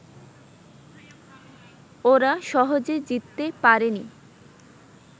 ওরা সহজে জিততে পারেনি